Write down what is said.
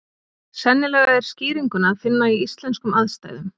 Sennilega er skýringuna að finna í íslenskum aðstæðum.